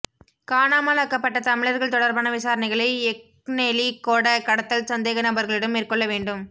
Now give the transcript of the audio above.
காணாமலாக்கப்பட்ட தமிழர்கள் தொடர்பான விசாரணைகளை எக்னெலிகொட கடத்தல் சந்தேகநபர்களிடம் மேற்கொள்ள வேண்டும்